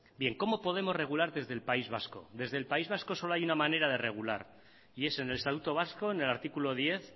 cómo podemos regular desde el país vasco desde el país vasco solo hay una manera de regular y es en el estatuto vasco en el artículo diez